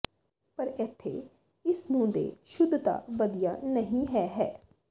ਪਰ ਇੱਥੇ ਇਸ ਨੂੰ ਦੇ ਸ਼ੁੱਧਤਾ ਵਧੀਆ ਨਹੀ ਹੈ ਹੈ